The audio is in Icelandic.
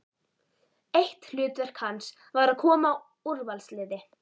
Eitt hlutverk hans var að koma úrvalsliði